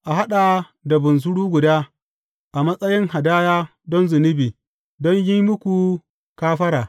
A haɗa da bunsuru guda, a matsayin hadaya don zunubi, don yin muku kafara.